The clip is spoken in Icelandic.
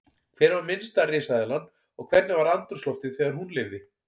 Hver var minnsta risaeðlan og hvernig var andrúmsloftið þegar hún lifði?